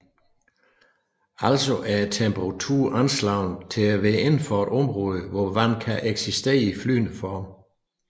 Altså er temperaturen anslået til at være indenfor et område hvor vand kan eksistere i flydende form